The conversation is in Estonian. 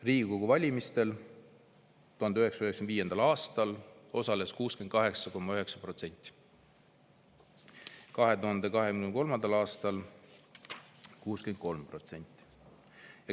Riigikogu valimistel 1995. aastal osales 68,9%, 2023. aastal 63%.